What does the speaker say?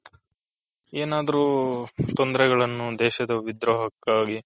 ಏನಾದ್ರು ತೊಂದರೆಗಳನ್ನು ದೇಶದ ವಿದ್ರೋಹ